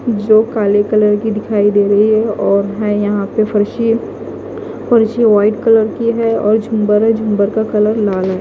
जो काले कलर की दिखाई दे रही है और हैं यहाँ पे फर्शी फर्शी वाइट कलर की है और झुम्बर है झुम्बर का कलर लाल है।